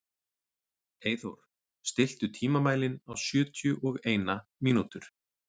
Eyþór, stilltu tímamælinn á sjötíu og eina mínútur.